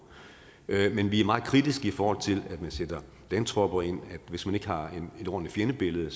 men vi er meget kritiske i forhold til at man sætter landtropper ind for hvis man ikke har et ordentligt fjendebillede